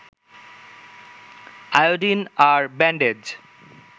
iodine আর bandage